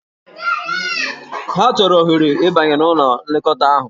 Ha chọrọ ohere ịbanye n'ụlọ nlekọta ahụ.